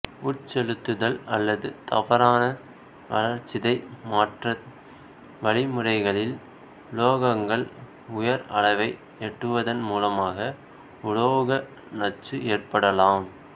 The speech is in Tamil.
உட்செலுத்துதல் அல்லது தவறான வளர்சிதை மாற்ற வழிமுறைகளில் உலோகங்கள் உயர் அளவை எட்டுவதன் மூலமாக உலோக நச்சு ஏற்படலாம்